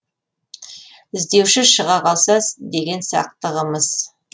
і здеуші шыға қалса деген сақтығымыз